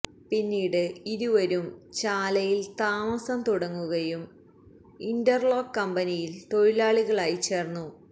പിന്നീട് ഇരുവരും ചാലയില് താമസം തുടങ്ങുകയും ഇന്റര്ലോക്ക് കമ്പനിയില് തൊഴിലാളികളായി ചേര്ന്നു